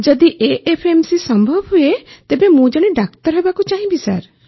ଯଦି ଏଏଫ୍ଏମସି ସମ୍ଭବ ହୁଏ ତେବେ ମୁଁ ଜଣେ ଡାକ୍ତର ହେବାକୁ ଚାହିଁବି ସାର୍